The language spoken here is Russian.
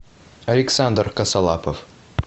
александр косолапов